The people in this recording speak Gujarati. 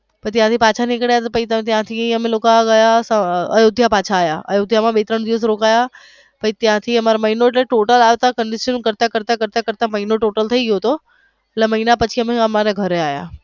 પછી અમે પાછા નીકળ્યા તો પછી ત્યાંથી અમે લોકો પાછા અયોધ્યા પાછા આવ્યા અને બે ત્રણ દિવસ રોકના પછી અમારે ત્યાંથી મહિનો એટલે અમારે total કરતા કરતા મહિનો થઈ ગયો તો total થઈ ગયો તો એટલે મહિના પછી મારા ઘરે આવ્યા.